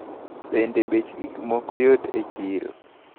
Bende bech gikmoko yot e chiro?